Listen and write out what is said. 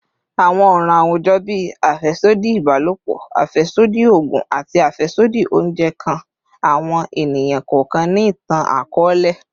Awọn ọran awujọ bii afẹsodi ibalopọ, afẹsodi oogun, ati afẹsodi ounjẹ kan awọn eniyan kọọkan ni itan-akọọlẹ